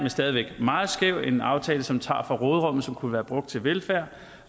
stadig væk meget skæv og en aftale som tager fra råderummet som kunne være brugt til velfærd